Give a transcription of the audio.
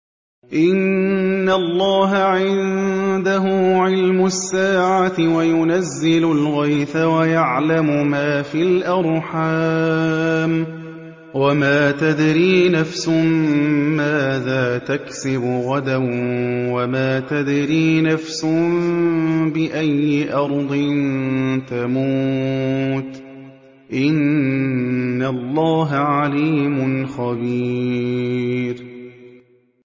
إِنَّ اللَّهَ عِندَهُ عِلْمُ السَّاعَةِ وَيُنَزِّلُ الْغَيْثَ وَيَعْلَمُ مَا فِي الْأَرْحَامِ ۖ وَمَا تَدْرِي نَفْسٌ مَّاذَا تَكْسِبُ غَدًا ۖ وَمَا تَدْرِي نَفْسٌ بِأَيِّ أَرْضٍ تَمُوتُ ۚ إِنَّ اللَّهَ عَلِيمٌ خَبِيرٌ